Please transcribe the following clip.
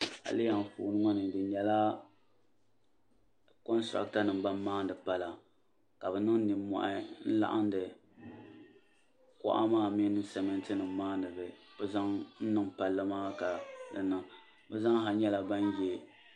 Ayilihi anfooni ŋɔ ni di nyela kontarata nima ban maani pala ka bɛ niŋ ninmohi n laɣindi kuɣu maa mini simiti nima maa ni bɛ zaŋ niŋ palli maa ka di niŋ bɛ zaaha nyɛla ban ye.